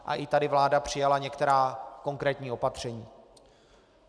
A i tady vláda přijala některá konkrétní opatření.